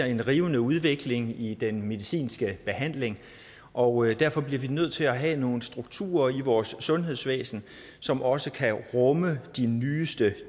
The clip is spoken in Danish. en rivende udvikling i den medicinske behandling og derfor bliver vi nødt til have nogle strukturer i vores sundhedsvæsen som også kan rumme de nyeste